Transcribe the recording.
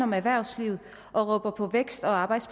med erhvervslivet